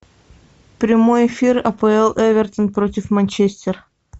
прямой эфир апл эвертон против манчестер